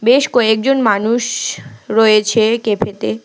বেশ কয়েকজন মানুষ রয়েছে ক্যাফেতে।